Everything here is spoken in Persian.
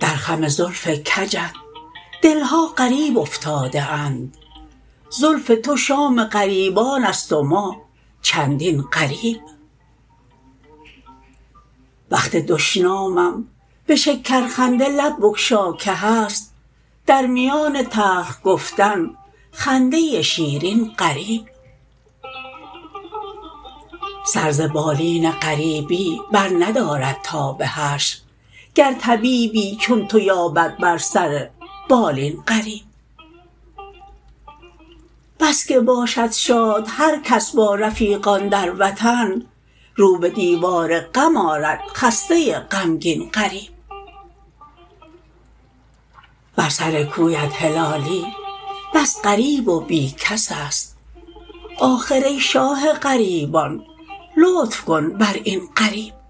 در خم زلف کجت دلها غریب افتاده اند زلف تو شام غریبانست و ما چندین غریب وقت دشنامم بشکر خنده لب بگشا که هست در میان تلخ گفتن خنده شیرین غریب سر ز بالین غریبی بر ندارد تا بحشر گر طبیبی چون تو یابد بر سر بالین غریب بسکه باشد شاد هر کس با رفیقان در وطن رو بدیوار غم آرد خسته غمگین غریب بر سر کویت هلالی بس غریب و بی کسست آخر ای شاه غریبان لطف کن بر این غریب